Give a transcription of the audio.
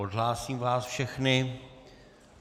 Odhlásím vás všechny.